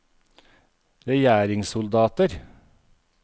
regjeringssoldater